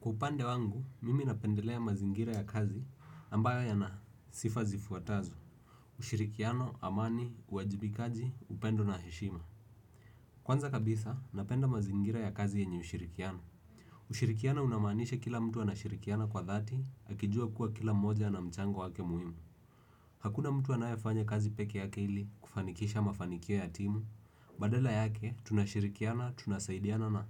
Kwa upande wangu, mimi napendelea mazingira ya kazi ambayo yana sifa zifuatazo, ushirikiano, amani, uajibikaji, upendo na heshima. Kwanza kabisa, napenda mazingira ya kazi yenye ushirikiano. Ushirikiano unamaanisha kila mtu anashirikiana kwa dhati, akijua kuwa kila mmoja ana mchango wake muhimu. Hakuna mtu anayefanya kazi peke yake ili kufanikisha mafanikio ya timu, badala yake tunashirikiana, tunasaidiana na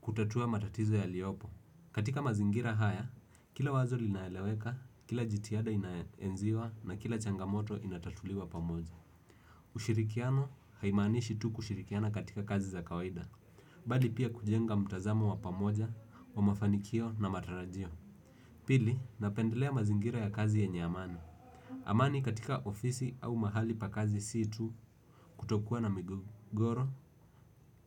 kutatua matatizo yaliopo. Katika mazingira haya, kila wazo linaeleweka, kila jitiada inaenziwa na kila changamoto inatatuliwa pamoja. Ushirikiano haimanishi tu kushirikiana katika kazi za kawaida, bali pia kujenga mtazamo wa pamoja wa mafanikio na matarajio. Pili napendelea mazingira ya kazi yenye amani. Amani katika ofisi au mahali pa kazi si tu kutokua na migogoro,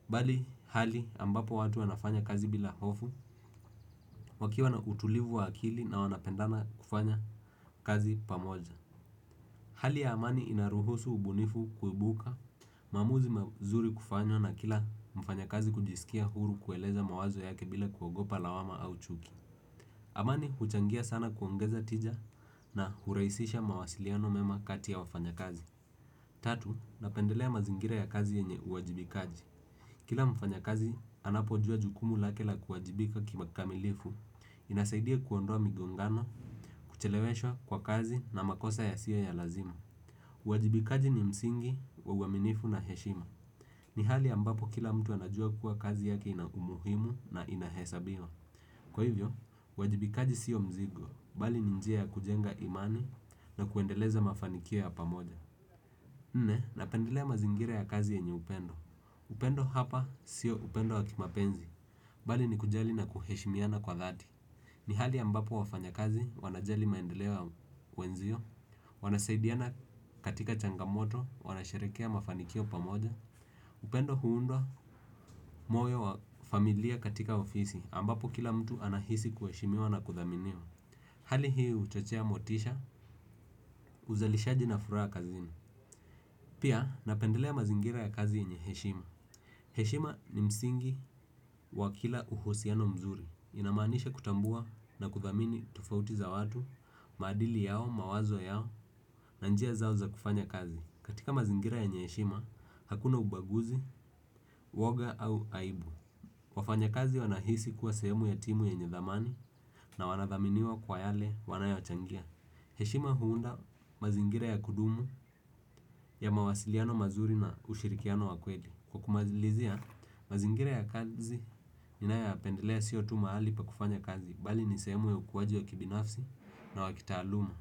bali hali ambapo watu wanafanya kazi bila hofu, wakiwa na utulivu wa akili na wanapendana kufanya kazi pamoja. Hali ya amani inaruhusu ubunifu kuibuka maamuzi mazuri kufanywa na kila mfanyakazi kujiskia huru kueleza mawazo yake bila kuogopa lawama ama chuki. Amani huchangia sana kuongeza tija na huraisisha mawasiliano mema kati ya wafanyakazi. Tatu, napendelea mazingira ya kazi yenye uwajibikaji. Kila mfanya kazi, anapojua jukumu lake la kuwajibika kima kamilifu, inasaidia kuondoa migongano, kucheleweshwa kwa kazi na makosa yasiyo ya lazima. Wajibikaji ni msingi, wa uwaminifu na heshima. Ni hali ambapo kila mtu anajua kuwa kazi yake ina umuhimu na ina hesabiwa. Kwa hivyo, uwajibikaji siyo mzigo, bali ni njia ya kujenga imani na kuendeleza mafanikio ya pamoja. Nne, napendelea mazingira ya kazi yenye upendo. Upendo hapa siyo upendo wa kimapenzi. Bali ni kujali na kuheshimiana kwa dhati. Ni hali ambapo wafanya kazi, wanajali maendeleo ya wenzio. Wanasaidiana katika changamoto, wanasharekea mafanikio pamoja. Upendo huundwa moyo wa familia katika ofisi, ambapo kila mtu anahisi kuheshimiwa na kuthaminiwa. Hali hii uchochea motisha, uzalishaji na furaa kazini. Pia, napendelea mazingira ya kazi yenye heshima. Heshima ni msingi wa kila uhusiano mzuri. Inamanisha kutambua na kuthamini tofauti za watu, maadili yao, mawazo yao, na njia zao za kufanya kazi. Katika mazingira yenye eshima, hakuna ubaguzi, uwoga au aibu. Wafanya kazi wanahisi kuwa sehemu ya timu yenye dhamani na wanathaminiwa kwa yale wanayochangia. Heshima huunda mazingira ya kudumu ya mawasiliano mazuri na ushirikiano wa kweli. Kwa kumazilizia, mazingira ya kazi ninayapendelea sio tu mahali pa kufanya kazi bali ni sehemu ya ukuwaji ya kibinafsi na wa kitaluma.